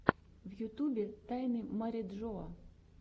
в ютубе тайны мариджоа